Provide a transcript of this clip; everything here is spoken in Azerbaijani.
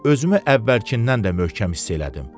Özümü əvvəlkindən də möhkəm hiss elədim.